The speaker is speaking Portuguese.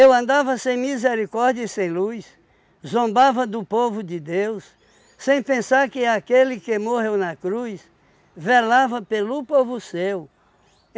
Eu andava sem misericórdia e sem luz, zombava do povo de Deus, sem pensar que aquele que morreu na cruz, velava pelo povo seu.